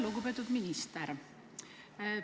Lugupeetud minister!